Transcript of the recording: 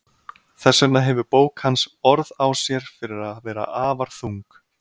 Þess vegna hefur bók hans orð á sér fyrir að vera afar þung.